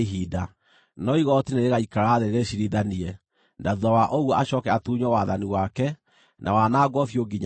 “ ‘No igooti nĩrĩgaikara thĩ rĩciirithanie, na thuutha wa ũguo acooke atunywo wathani wake, na wanangwo biũ nginya tene.